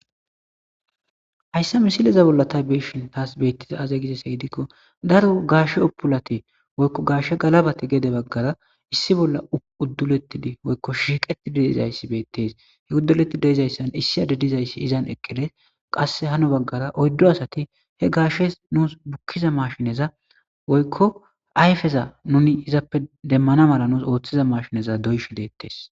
Hayssa misileza bolla tha be7ishin thaas beeththiza aazee gizeyssa gididikko daro gaashe oppulathi woykko gaashe galabathi gede baggara issi bolla udduleththidi woykko shiiqeththidi de7izayssi beeththes; he uddoleththi de7izayssan issi adde dizayssi izan eqqi des; qasse hano baggara oyddo asathi he gaashes nuus bukkiza mashineza woykko ayfeza nuni izappe demmana mala nuus ooththiza mashineza doyshe deeththes.